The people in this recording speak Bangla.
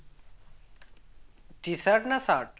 T shirt না shirt